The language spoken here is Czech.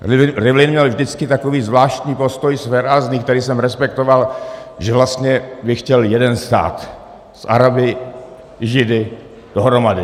Rivlin měl vždycky takový zvláštní postoj, svérázný, který jsem respektoval, že vlastně by chtěl jeden stát s Araby, Židy dohromady.